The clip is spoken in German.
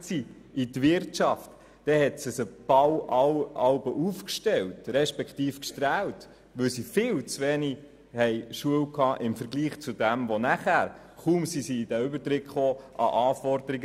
Als sie dann ins Arbeitsleben eintraten, erlitten sie einen Schock, weil die Anforderungen im Betrieb viel höher waren.